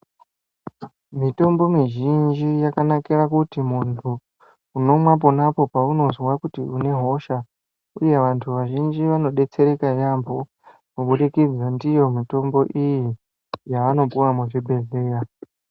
Mitombo mizhinji yakanakire kuti muntu unomwa ponapo paunozwa kuti unehosha, uye vantu vazhinji vanodetsereka yambo, kubudikidza ndiyo mitombo iyi, yavanopuwa muzvibhedhleya.